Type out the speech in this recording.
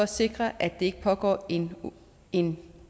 sikre at der ikke pågår en en